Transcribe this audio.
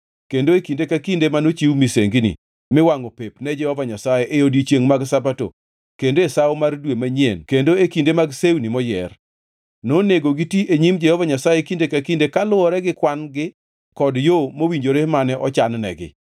kendo e kinde ka kinde manochiw misengini miwangʼo pep ne Jehova Nyasaye e odiechienge mag Sabato, kendo e Sawo mar Dwe manyien kendo e kinde mag sewni moyier. Nonego giti e nyim Jehova Nyasaye kinde ka kinde kaluwore gi kwan-gi kod yo mowinjore mane ochan-negi.